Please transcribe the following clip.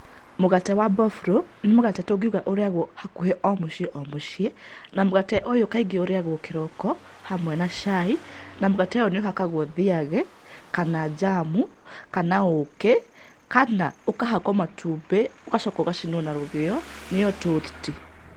Mũgate wa mboburũ nĩ mũgate tũngiuga ũrĩagwo hakuhĩ o mũciĩ o mũciĩ, na mũgate ũyũ kaingĩ ũrĩagwo kĩroko hamwe na cai, na mũgate ũyũ nĩ ũhakagwo thiagi kana njamu, kana ũũkĩ, kana ũkahakwo matumbĩ ũgacoka ũgacinwo na rũgĩo, nĩyo tũthti.